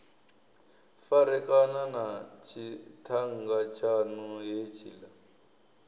farekana na tshiṱhannga tshaṋu hetshiḽa